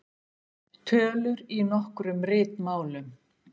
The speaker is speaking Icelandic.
Tölur í nokkrum ritmálum.